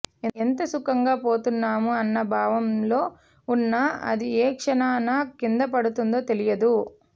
ఎంత సుఖంగా పోతున్నాము అన్న భావంలో ఉన్న అది ఏ క్షణాన కిందపడుతుందో తెలియదు